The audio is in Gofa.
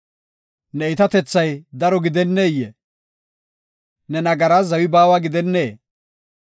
Ne iitatethay daro gidenneyee? Ne nagaraas zawi baawa gidennee?